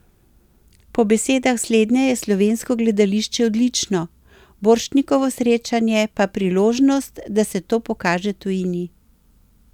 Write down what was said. Po besedah slednje je slovensko gledališče odlično, Borštnikovo srečanje pa priložnost, da se to pokaže tujini.